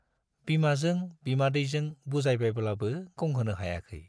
बिमाजों बिमादैजों बुजायबायब्लाबो गंहोनो हायाखै।